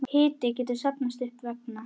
Hiti getur safnast upp vegna